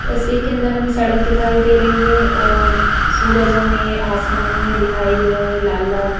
तस्वीर के अंदर हमें सड़क दिखाई दे रही है और सूरज हमें आसमान में दिखाई दे रहा है लाल लाल--